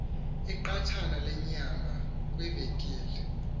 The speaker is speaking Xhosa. iqathana lenyama kwivenkile